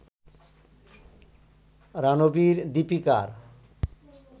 রানবির-দিপিকার